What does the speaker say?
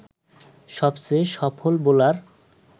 সবচেয়ে সফল বোলার